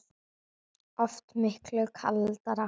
Oft miklu kaldara